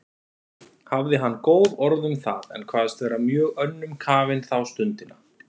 Hafði hann góð orð um það, en kvaðst vera mjög önnum kafinn þá stundina.